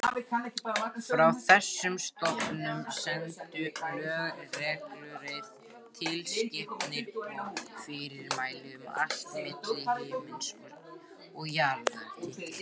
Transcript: Frá þessum stofnunum streymdu lög, reglugerðir, tilskipanir og fyrirmæli um allt milli himins og jarðar.